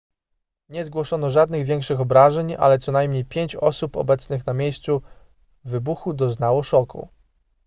nie zgłoszono żadnych większych obrażeń ale co najmniej pięć osób obecnych na miejscu wybuchu doznało szoku